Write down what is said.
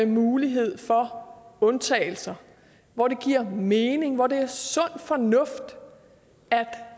mulighed for undtagelser hvor det giver mening hvor det er sund fornuft